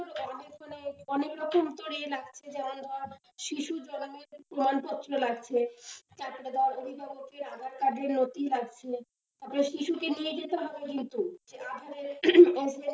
অনেক রকম তোর ইয়ে লাগছে যেমন ধর শিশু জন্মের প্রমাণপত্র লাগছে, তারপরে ধর অভিভাবকের aadhaar card এর নথি লাগছে, তারপরে শিশুকে নিয়ে যেতে হবে কিন্তু। aadhaar card এর,